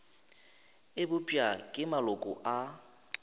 e bopša ke maloko a